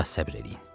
Bir az səbr eləyin.